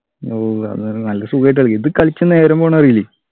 ഓ അതാണ് നല്ല സുഖായിട്ടു കളിക്കാ ഇത് കളിച്ചാൽ നേരം പോണത് അറിയില്ലേ